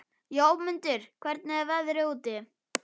Jómundur, hvernig er veðrið úti?